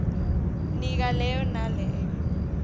nika leyo naleyo